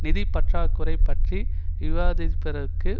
நிதிப்பற்றாக்குறை பற்றி விவாதிப்பதற்கு